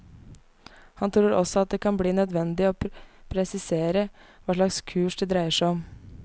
Han tror også det kan bli nødvendig å presisere hva slags kurs det dreier seg om.